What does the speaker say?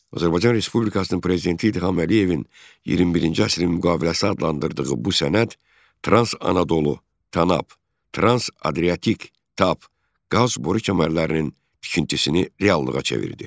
Azərbaycan Respublikasının Prezidenti İlham Əliyevin 21-ci əsrin müqaviləsi adlandırdığı bu sənəd Trans-Anadolu (TANAP), Trans-Adriatik (TAP) qaz boru kəmərlərinin tikintisini reallığa çevirdi.